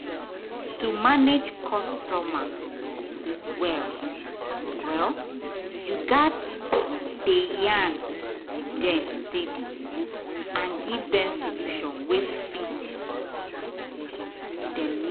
to manage customer well-well you gats dey yarn with dem steady and give dem solution wey fit dem